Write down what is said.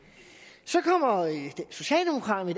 så kommer socialdemokraterne